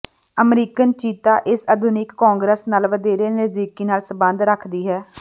American ਚੀਤਾ ਇਸ ਆਧੁਨਿਕ ਕੌਂਗਰਸ ਨਾਲ ਵਧੇਰੇ ਨਜ਼ਦੀਕੀ ਨਾਲ ਸੰਬੰਧ ਰੱਖਦੀ ਹੈ